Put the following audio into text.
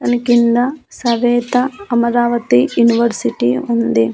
దానికింద సవేత అమరావతి యూనివర్సిటీ ఉంది.